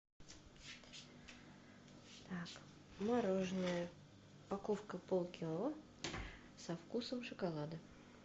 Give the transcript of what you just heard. так мороженое упаковка полкило со вкусом шоколада